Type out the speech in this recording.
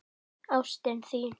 Ástin þín!